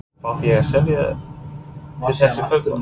Þarf ég að selja til þess að kaupa?